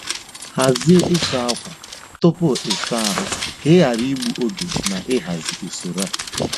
Hazie ịsa ákwà tupu ịsa ahụ ka ị ghara igbu oge na ịhazi usoro a.